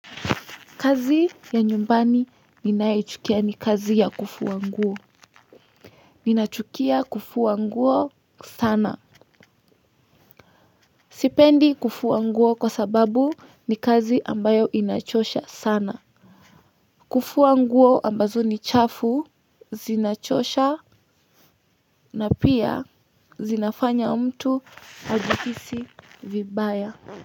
Kazi ya nyumbani ninayoichukia ni kazi ya kufua nguo. Ninachukia kufua nguo sana sipendi kufu wanguo kwa sababu ni kazi ambayo inachosha sana kufua nguo ambazo ni chafu zinachosha na pia zinafanya mtu ajihisi vibaya.